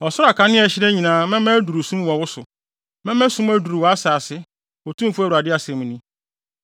Ɔsoro akanea a ɛhyerɛn nyinaa mɛma aduru sum wɔ wo so; mɛma sum aduru wʼasase, Otumfo Awurade asɛm ni.